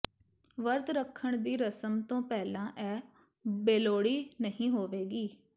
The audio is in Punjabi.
ਵਰਤ ਰੱਖਣ ਦੀ ਰਸਮ ਤੋਂ ਪਹਿਲਾਂ ਇਹ ਬੇਲੋੜੀ ਨਹੀਂ ਹੋਵੇਗੀ